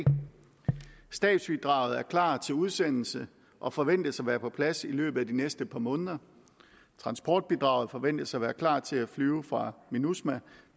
stabsbidraget er klar til udsendelse og forventes at være på plads i løbet af de næste par måneder transportbidraget forventes at være klar til at flyve for minusma